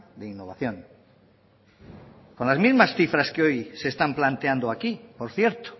de innovación con las mismas cifras que hoy se están planteando aquí por cierto